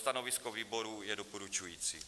Stanovisko výboru je doporučující.